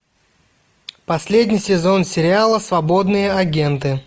последний сезон сериала свободные агенты